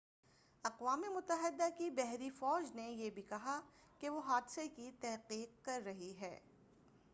اقوام متحدہ کی بحری فوج نے یہ بھی کہا کہ وہ حادثے کی تحقیق کر رہی ہے